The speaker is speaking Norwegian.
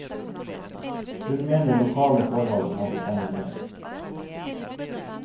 Hun mener lokale forhold må bestemme mer.